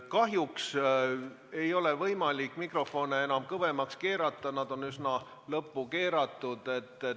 Kahjuks ei ole võimalik mikrofone enam kõvemaks keerata, nad on üsna lõppu keeratud.